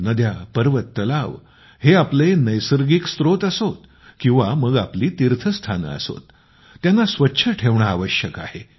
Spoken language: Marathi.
नद्या पर्वत तलाव हे आपले नैसर्गिक स्रोत असोत किंवा मग आपली तीर्थस्थाने असोत त्यांना स्वच्छ ठेवणे आवश्यक आहे